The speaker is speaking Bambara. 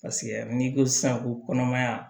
n'i ko sisan ko kɔnɔmaya